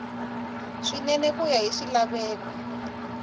swinene ku ya hi swilaveko